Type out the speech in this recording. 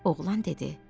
Oğlan dedi: